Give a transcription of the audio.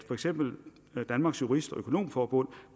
for eksempel danmarks jurist og økonomforbund